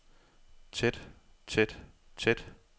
tæt tæt tæt